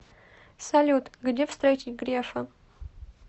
салют где встретить грефа